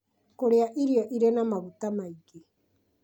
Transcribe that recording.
Kũrĩa irio irĩ na maguta maingĩ